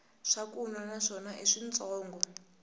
swakunwa na swona i switshongo